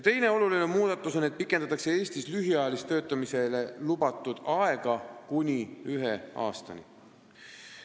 Teine oluline muudatus on see, et pikendatakse Eestis lühiajaliseks töötamiseks lubatud aega kuni ühe aastani.